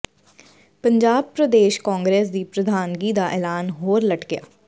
ਪੰਜਾਬ ਪ੍ਰਦੇਸ਼ ਕਾਂਗਰਸ ਦੀ ਪ੍ਰਧਾਨਗੀ ਦਾ ਐਲਾਨ ਹੋਰ ਲਟਕਿਆ